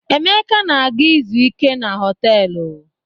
Emeka na-aga izu ike na họtelụ.